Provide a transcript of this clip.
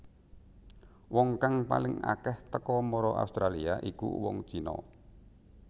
Wong kang paling akéh teka mara Australia iku wong China